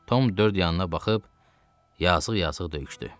Tom dörd yanına baxıb yazığ-yazıq döyüşdü.